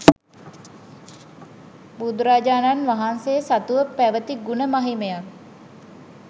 බුදුරජාණන්වහන්සේ සතුව පැවැති ගුණ මහිමයත්